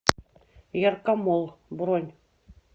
яркомолл бронь